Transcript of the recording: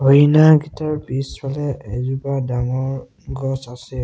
হৰিণাকিতাৰ পিছফালে এজোপা ডাঙৰ গছ আছে।